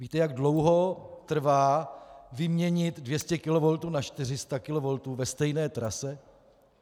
Víte, jak dlouho trvá vyměnit 200 kV na 400 kV ve stejné trase?